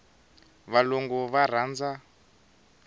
valungu va rhandza